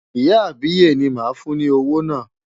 Ìyá àbíyè ni màá fún ní owó náà.